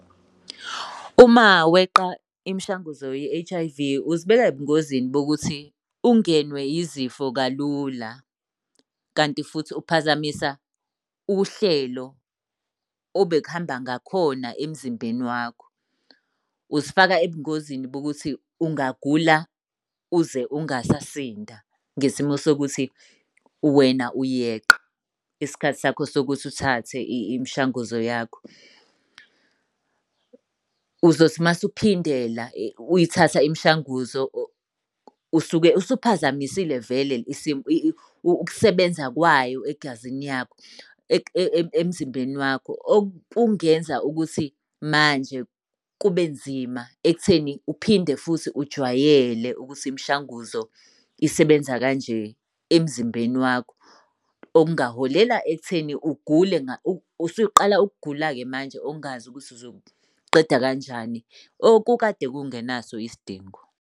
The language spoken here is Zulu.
Uma weqa imishanguzo ye-H_I_V uzibeka ebungozini bokuthi ungenwe yizifo kalula, kanti futhi uphazamisa uhlelo obekuhamba ngakhona emzimbeni wakho. Uzifaka ebungozini bokuthi ungagula uze ungasasinda, ngesimo sokuthi wena uyeqa isikhathi sakho sokuthi uthathe imishanguzo yakho. Uzothi uma usuphindela uyithatha imishanguzo usuke usuphazamisile vele isimo ukusebenza kwayo egazini yakho emzimbeni wakho. Okungenza ukuthi manje kube nzima ekutheni uphinde futhi ujwayele ukuthi imishanguzo isebenza kanje emzimbeni wakho. Okungaholela ekutheni ugule usuqala ukugula-ke manje ongazi ukuthi uzokuqeda kanjani, okukade kungenaso isidingo.